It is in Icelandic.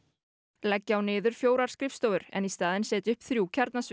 leggja á niður fjórar skrifstofur en í staðinn setja upp þrjú